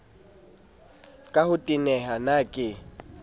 ka ho teneha na ke